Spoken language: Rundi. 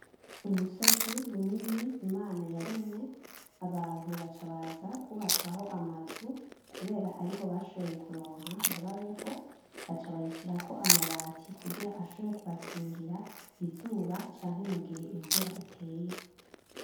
Umusozi munini imana yaremye abantu baca baza kwubakaho amazu kubera ariho bashoboye kuronka ngo babeho baca bayishirako amabati kugira ashobore kubakingira izuba canke mugihe imvura iteye.